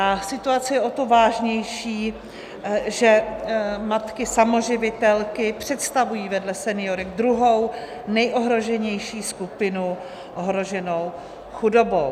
A situace je o to vážnější, že matky samoživitelky představují vedle seniorek druhou nejohroženější skupinu ohroženou chudobou.